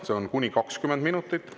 See on kuni 20 minutit.